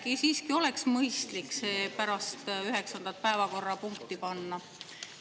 Äkki siiski oleks mõistlik see pärast üheksandat päevakorrapunkti panna?